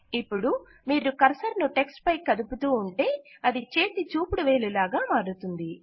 ఇపుడు మీరు కర్సర్ ను టెక్ట్స్ పై కదుపుతూ ఉంటే అది చేతిచూపుడువేలు లాగా మారుతుంది